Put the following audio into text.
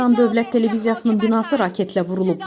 İran dövlət televiziyasının binası raketlə vurulub.